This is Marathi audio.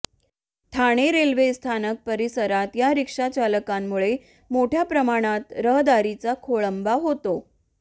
ठाणे रेल्वे स्थानक परिसरात या रिक्षाचालकांमुळे मोठय़ा प्रमाणात रहदारीचा खोळंबा होतो